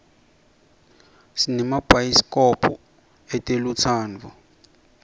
sinemabayisi kobho etelutsandvo